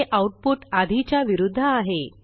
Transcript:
हे आऊटपुट आधीच्या विरूध्द आहे